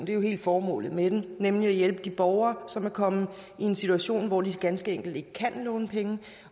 hele formålet med det nemlig at hjælpe de borgere som er kommet i en situation hvor de ganske enkelt ikke kan låne penge